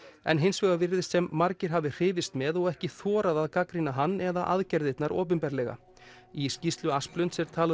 en hins vegar virðist sem margir hafi hrifist með og ekki þorað að gagnrýna hann eða aðgerðirnar opinberlega í skýrslu Asplunds er talað